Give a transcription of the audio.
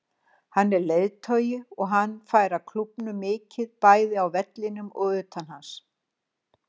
Hann er leiðtogi og hann færa klúbbnum mikið, bæði á vellinum og utan hans.